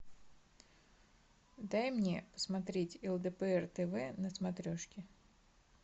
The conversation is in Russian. дай мне посмотреть лдпр тв на смотрешке